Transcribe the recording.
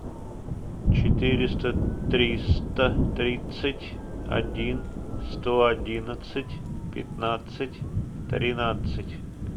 четыреста триста тридцать один сто одиннадцать пятнадцать тринадцать